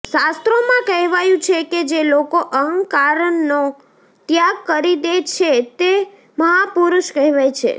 શાસ્ત્રોમાં કહેવાયું છે કે જે લોકો અહંકારનનો ત્યાગ કરી દે છે તે મહાપુરુષ કહેવાય છે